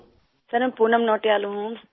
سر میں پونم نوٹیال ہوں